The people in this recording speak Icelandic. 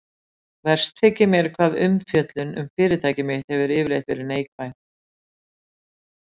Verst þykir mér hvað umfjöllun um fyrirtæki mitt hefur yfirleitt verið neikvæð.